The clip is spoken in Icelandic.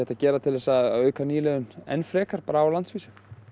að gera til að auka nýliðun enn frekar á landsvísu